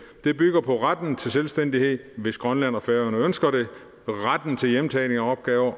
det bygger på retten til selvstændighed hvis grønland og færøerne ønsker det retten til hjemtagning af opgaver